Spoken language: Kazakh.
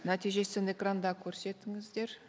нәтижесін экранда көрсетіңіздер